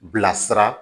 Bilasira